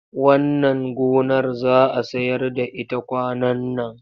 Wannan gonar za a sayar da ita kwanan nan.